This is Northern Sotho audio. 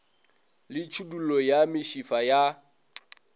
le tšhidullo ya mešifa ya